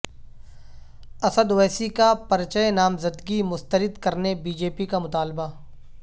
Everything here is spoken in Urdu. اسد اویسی کا پرچہ نامزدگی مسترد کرنے بی جے پی کامطالبہ